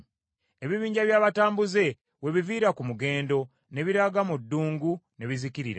Ebibinja by’abatambuze we biviira ku mugendo ne biraga mu ddungu ne bizikirira.